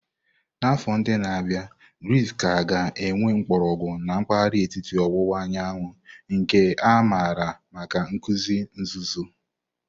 N'afọ ndị na-abịa, Druze ka ga-enwe mgbọrọgwụ na mpahara etiti owuwa anyanwu, nke a maara maka nkuzi nzuzo.